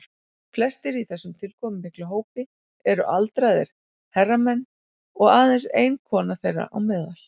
Flestir í þessum tilkomumikla hópi eru aldraðir herramenn og aðeins ein kona þeirra á meðal.